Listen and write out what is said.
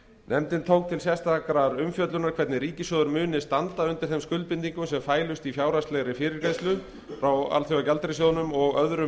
nefndin tók til sérstakrar umfjöllunar hvernig ríkissjóður mundi standa undir þeim skuldbindingum sem fælust í fjárhagslegri fyrirgreiðslu frá alþjóðagjaldeyrissjóðnum og öðrum